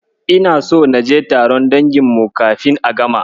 Ina so naje taron dangin mu kafin a gama.